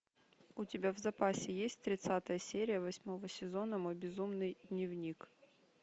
у тебя в запасе есть тридцатая серия восьмого сезона мой безумный дневник